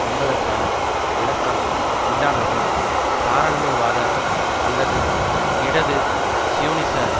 என்பதற்கான விளக்கம் இல்லாதது தாராண்மைவாத அல்லது இடது சியோனிச